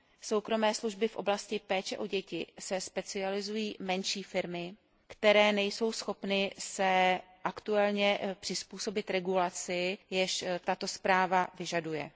soukromé služby v oblasti péče o děti se specializují menší firmy, které nejsou schopny se aktuálně přizpůsobit regulaci, již tato zpráva vyžaduje.